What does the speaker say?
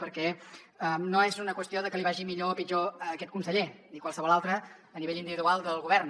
perquè no és una qüestió que li vagi millor o pitjor a aquest conseller ni a qualsevol altre a nivell individual del govern